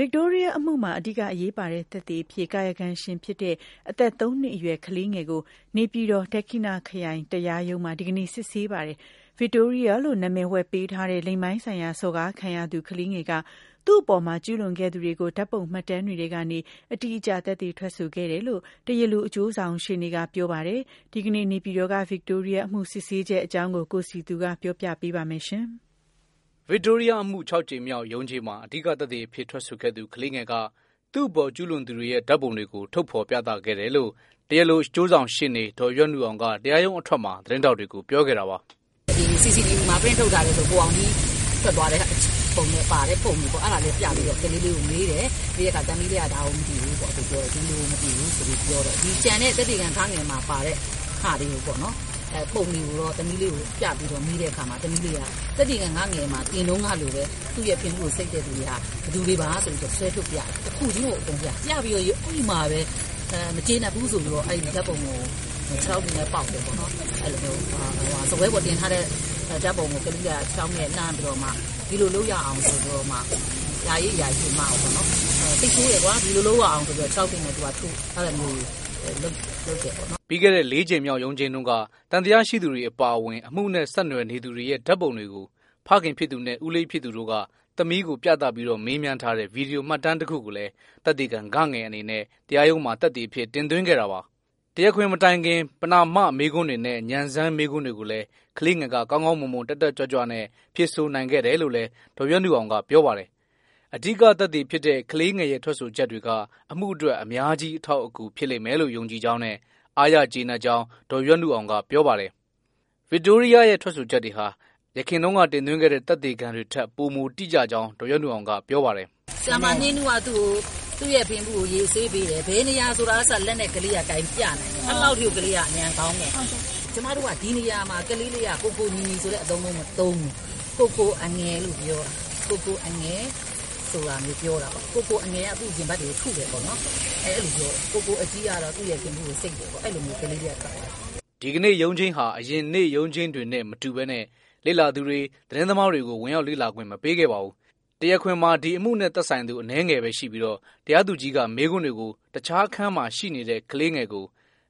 ဗစ်တိုးရီးယားအမှုမှာ အဓိကအရေးပါတဲ့ သက်သေအဖြစ် ကာယကံရှင်ဖြစ်တဲ့ အသက်သုံးနှစ်အရွယ် ကလေးငယ်ကို နေပြည်တော် ဒက္ခိဏခရိုင်တရားရုံးမှာ ဒီကနေ့စစ်ဆေးပါတယ်။ ဗစ်တိုးရီးယားလို့ နာမည်ဝှက်ပေးထားတဲ့ လိင်ပိုင်းဆိုင်ရာစော်ကားခံရသူ ကလေးငယ်က သူ့အပေါ်ကျူးလွန်ခဲ့သူတွေကို ဓာတ်ပုံမှတ်တမ်းတွေထဲကနေ အတိအကျ သက်သေထွက်ဆိုခဲ့တယ်လို့ တရားလိုအကျိုးဆောင်ရှေ့နေက ပြောပါတယ်။ ဒီကနေ့ နေပြည်တော်က ဗစ်တိုးရီးယား အမှုစစ်ဆေးချက်အကြောင်း ကိုစည်သူ ပြောပြပေးမှာပါ။ ဗစ်တိုးရီးယားအမှု ၆ ကြိမ်မြောက်ရုံးချိန်းမှာ အဓိကသက်သေအဖြစ်ထွက်ဆိုခဲ့သူ ကလေးငယ်က သူ့အပေါ်ကျူးလွန်သူတွေရဲ့ ဓာတ်ပုံတွေကို ထုတ်ဖော်ပြသခဲ့တယ်လို့ တရားလိုအကျိုးဆောင်ရှေ့နေ ဒေါ်ရွက်နုအောင်က တရားရုံးအထွက်မှာ သတင်းထောက်တွေကို ပြောခဲ့တာပါ။ “ CCTV မှာ ပရင့်ထုတ်ထားတဲ့ ကိုအောင်ကြီးထွက်သွားတဲ့ပုံပါတဲ့ ပုံတွေကို ပြပြီးတော့ ကလေးလေးကို မေးတယ် ။ မေးတဲ့အခါ သမီးလေးက ဒါကိုမသိဘူးပေါ့ ဒီလူကိုမသိဘူးဆိုပြီး ပြောတယ်။ ဒီကျန်တဲ့ သက်သေခံ မှာပါတဲ့ ပုံတွေကိုတော့ သမီးလေးကို ပြပြီးတော့ မေးတဲ့အခါမှာ သမီးလေးက သက်သေခံ မှာတင်တုန်းကလိုပဲ သူ့ရဲ့ ဖင်ဗူးကိုဆိတ်တဲ့သူတွေဟာ ဘယ်သူတွေပါဆိုပြီးတော့ ဆွဲထုတ်ပြတယ်။ တစ်ခုချင်းကိုအကုန်ပြတယ်။ ပြပြီးတော့ အဲဒီမှာပဲ မကျေနပ်ဘူးဆိုပြီးတော့ အဲ့ဒီဓာတ်ပုံကို ခြေထောက်တွေနဲ့ ပေါက်တယ်။ စားပွဲပေါ်တင်ထားတဲ့ ဓါတ်ပုံကို ကလေးက စိတ်ဆိုးပြီးတော့ ခြေထောက်တွေနဲ့ ပေါက်တယ် အဲလိုမျိုးလုပ်တယ်ပေါ့နော် “ ပြီးခဲ့တဲ့ လေးကြိမ်မြောက်ရုံးချိန်းတုန်းကသံသယရှိသူတွေ အပါအဝင် အမှုနဲ့ ဆက်နွယ်နေသူတွေရဲ့ ဓာတ်ပုံတွေကို ဖခင်နဲ့ ဦးလေးဖြစ်သူတို့က သမီးကို ပြသပြီး မေးမြန်းထားတဲ့ ဗွီဒီယို မှတ်တမ်းတခုကိုလည်း သက်သေခံ အနေနဲ့တရားရုံးမှာ သက်သေအဖြစ် တင်သွင်းခဲ့တာပါ။ တရားခွင်မတိုင်ခင် ပဏာမမေးခွန်းတွေနဲ့ ဉာဏ်စမ်းမေးခွန်းတွေကိုလည်း ကလေးငယ်က ကောင်းကောင်း မွန်မွန် တက်တက်ကြွကြွနဲ့ ဖြေဆိုနိုင်ခဲ့တယ်လို့လည်း ဒေါ်ရွက်နုအောင်က ပြောပါတယ်။ အဓိက သက်သေဖြစ်တဲ့ ကလေးငယ်ရဲ့ ထွက်ဆိုချက်တွေက အမှုအတွက် အများကြီး အထောက်အကူ ဖြစ်လိမ့်မယ်လို့ ယုံကြည်ကြောင်းနဲ့ အားရကျေနပ်ကြောင်း ဒေါ်ရွက်နုအောင်က ပြောပါတယ်။ ကလေးငယ်ရဲ့ထွက်ဆိုချက်တွေဟာ ယခင်တင်သွင်းတဲ့ သက်သေခံတွေထက် ပိုမိုတိကျကြောင်း ဒေါ်ရွက်နုအောင်က ပြောပါတယ်။ “ဆရာမ နှင်းနုက ဖင်ဗူးကိုရေဆေးပေးတယ်။ ဘယ်နေရာဆိုတာကအစ လက်နဲ့ ကလေးက ကိုင်ပြတယ်။ အဲလောက်ထိကို ကလေးက ဉာဏ်ကောင်းတယ်။ ဒီနေရာမှာကလေးက ကိုကိုညီညီလို့မသုံးဘူး ။ ကိုကိုအငယ်လို့ပြောတယ် ကိုကိုအငယ်က သူ့ရဲ့ ရင်ဘတ်တွေကို ထုတယ်ပေါ့နော် အဲလိုပြောတယ်။ ကိုကိုအကြီးက သူ့ဖင်ဗူးကို ဆိတ်တယ်ပေါ့။ အဲလိုမျိုးကလေးလေးက ထွက်ဆိုတယ်” ဒီကနေ့ရုံးချိန်းဟာ အရင်နေ့ရုံးချိန်းတွေနဲ့ မတူပဲ လေ့လာသူတွေ သတင်းသမားတွေကို ဝင်ရောက်လေ့လာခွင့် မပေးခဲ့ပါဘူး။ တရားခွင်မှာ ဒီအမှုနဲ့သက်ဆိုင်သူ အနည်းငယ်ပဲရှိပြီးတော့ တရားသူကြီးက မေးခွန်းတွေကို တခြားအခန်းမှာရှိနေတဲ့ ကလေးငယ်ကို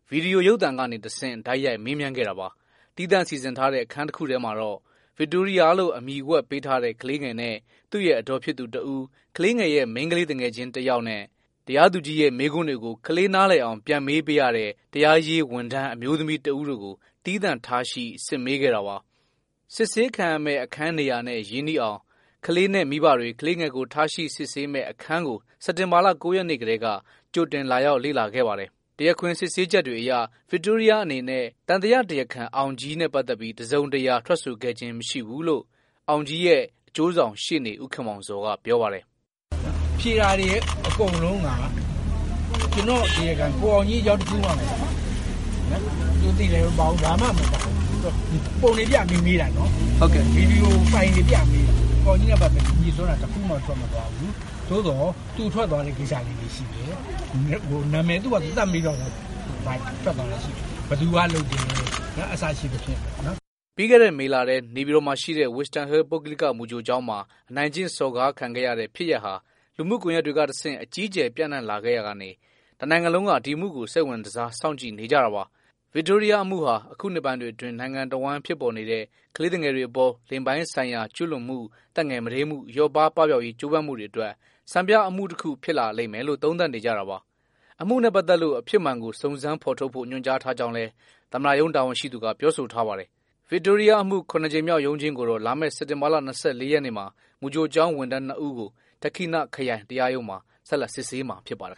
ဗွီဒီယိုရုပ်သံကနေတဆင့် တိုက်ရိုက် မေးမြန်းခဲ့တာပါ။ သီးသန့်စီစဉ်ထားတဲ့ အခန်းတစ်ခုမှာတော့ဗစ်တိုးရီးယားလို့ အမည်ဝှက်ပေးထားတဲ့ ကလေးငယ်နဲ့ သူ့ရဲ့အဒေါ်ဖြစ်သူတစ်ဦး၊ကလေးငယ်ရဲ့ မိန်းကလေးသူငယ်ချင်း ကလေးတစ်ယောက်နဲ့ တရားသူကြီးရဲ့ မေးခွန်းတွေကို ကလေးနားလည်အောင် ပြန်မေးပေးရတဲ့ တရားရေးဝန်ထမ်း အမျိုးသမီးတစ်ဦးတို့ကို သီးသန့်ထားရှိ စစ်မေးခဲ့တာပါ။ စစ်ဆေးခံရမယ့်အခန်းနေရာနဲ့ ရင်းနှီးအောင် ကလေးနဲ့မိဘတွေ ကလေးငယ်ကိုထားရှိစစ်ဆေးတဲ့ အခန်းကို စက်တင်ဘာ ၉ ရက်နေ့တုန်းက ကြိုတင်လာရောက်ခဲ့ကြပါတယ်။ တရားခွင်စစ်ဆေးချက်အရ ဗစ်တိုးရီးယားအနေနဲ သံသယတရားခံ အောင်ကြီးကိုတော့ တစ်စုံတစ်ရာ ထွက်ဆိုခဲ့ခြင်းမရှိဘူးလို့ အောင်ကြီးရဲ့အကျိုးဆောင်ရှေ့နေ ဦးခင်မောင်ဇော်က ပြောပါတယ်။ “ဖြေတာတွေအကုန်လုံးက ကိုအောင်ကြီးအကြောင်း တခုမှ မပါဘူး။ ဘာမှမပါဘူး ပုံတွေပြပြီးတော့ မေးတာပေါ့နော်။ ဗွီဒီယိုဖိုင်တွေပြပြီးတော့ မေးတာ ကိုအောင်ကြီးလို့ပြောတာ တခုမှ မပါဘူး သို့သော် သူထွက်သွားတဲ့ နာမည်တွေရှိတယ် ဘယ်သူက လုပ်တယ် စသဖြင့်ပေါ့နော်။” ပြီးခဲ့တဲ့ မေလထဲ နေပြည်တော်မှာရှိတဲ့ Wisdom Hill ပုဂ္ဂလိက မူကြိုကျောင်းမှာ အနိုင်ကျင့်စော်ကားခံခဲ့ရတဲ့ ဖြစ်ရပ်ဟာ လူမှုကွန်ရက်တွေကတဆင့် အကြီးအကျယ် ပြန့်နှံ့ခဲ့ရာက တစ်နိုင်ငံလုံးက ဒီအမှုကို စိတ်ဝင်စား စောင့်ကြည့်နေကြတာပါ။ ဗစ်တိုးရီးယား အမှုဟာ အခုနှစ်ပိုင်းတွေအတွင်း နိုင်ငံတဝိုင်းဖြစ်ပေါ်နေတဲ့ ကလေးသူငယ်တွေအပေါ် လိင်ပိုင်းဆိုင်ရာကျူးလွန်မှု သက်ငယ်မဒိမ်းမှု လျော့ပါး ပပျောက်ရေးကြိုးပမ်းမှုတွေအတွက် စံပြအမှုတစ်ခု ဖြစ်လာလိမ့်မယ်လို့ သုံးသပ်နေကြတာပါ။ အမှုနဲ့ ပတ်သက်လို့ အဖြစ်မှန်ကို စုံစမ်းဖော်ထုတ်ဖို့ ညွှန်ကြားထားကြောင်းလည်း သမ္မတရုံးတာဝန်ရှိသူက ပြောဆိုထားပါတယ်။ ဗစ်တိုးရီးယားအမှု ၇ ကြိမ်မြောက်ရုံးချိန်းကို လာမယ့်စက်တင်ဘာလ ရက်နေ့မှာမူကြိုကျောင်းဝန်ထမ်း ၂ ဦးကို ဒဏ္ခိဏခရိုင်တရားရုံးမှာ ဆက်လက်စစ်ဆေးမှာ ဖြစ်ပါတယ်